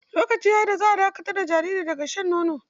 Lokaci ya yi da za a dakatar da jariri daga shan nono.